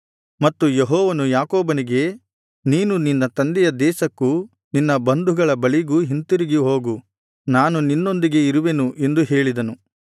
ಮತ್ತು ಯೆಹೋವನು ಯಾಕೋಬನಿಗೆ ನೀನು ನಿನ್ನ ತಂದೆಯ ದೇಶಕ್ಕೂ ನಿನ್ನ ಬಂಧುಗಳ ಬಳಿಗೂ ಹಿಂತಿರುಗಿ ಹೋಗು ನಾನು ನಿನ್ನೊಂದಿಗೆ ಇರುವೆನು ಎಂದು ಹೇಳಿದನು